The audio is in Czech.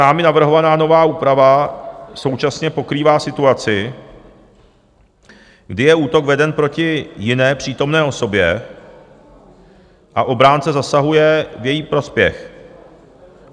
Námi navrhovaná nová úprava současně pokrývá situaci, kdy je útok veden proti jiné přítomné osobě a obránce zasahuje v její prospěch.